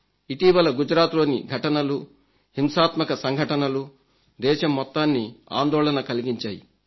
ఇటీవల గుజరాత్లోని ఘటనలు హింసాత్మక సంఘటనలు దేశం మొత్తాన్ని ఆందోళన కలిగించాయి